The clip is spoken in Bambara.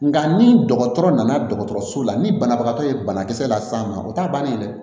Nka ni dɔgɔtɔrɔ nana dɔgɔtɔrɔso la ni banabagatɔ ye banakisɛ las'a ma o t'a bannen ye dɛ